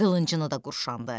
Qılıncını da qurşandı.